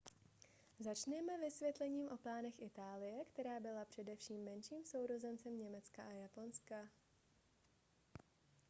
začněme vysvětlením o plánech itálie která byla především menším sourozencem německa a japonska